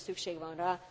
Igenis szükség